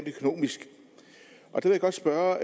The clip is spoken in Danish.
godt spørge